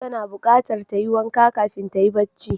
Tana buqatar tayi wanka kafin tayi bacci